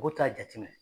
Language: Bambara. U t'a jateminɛ